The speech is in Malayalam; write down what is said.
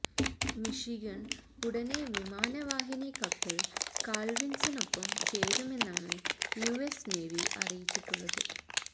മിഷിഗൺ ഉടനെ വിമാനവാഹിനി കപ്പൽ കാൾവിൻസനൊപ്പം ചേരുമെന്നാണ് യുഎസ് നേവി അറിയിച്ചിട്ടുള്ളത്